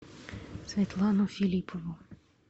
светлану филиппову